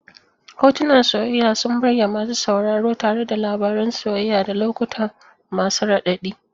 Hotunan soyayya sun burge masu sauraro tare da labarun soyayya da lokuta masu raɗaɗi.